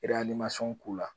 k'u la.